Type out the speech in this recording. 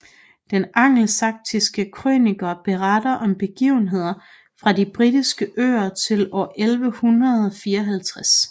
Den Angelsaksiske Krønike beretter om begivenheder fra de Britiske Øer til år 1154